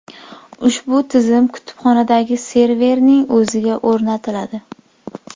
Ushbu tizim kutubxonadagi serverning o‘ziga o‘rnatiladi.